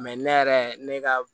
ne yɛrɛ ne ka